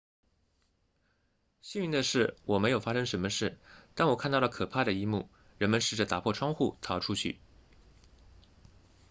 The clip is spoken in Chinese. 幸运的是我没有发生什么事但我看到了可怕的一幕人们试着打破窗户逃出去